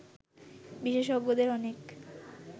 বিশেষজ্ঞদের অনেকে